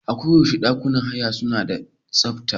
Aku yaushe ɗakunan haya suna da tsafta.